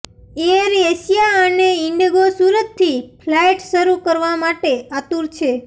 air Asia અને ઇન્ડિગો સુરતથી flight શરૂ કરવા માટે આતુર છે